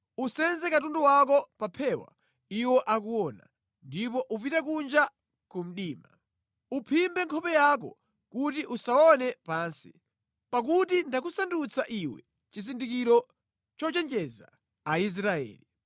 Usenze katundu wako pa phewa iwo akuona, ndipo upite kunja ku mdima. Uphimbe nkhope yako kuti usaone pansi, pakuti ndakusandutsa iwe chizindikiro chochenjeza Aisraeli.”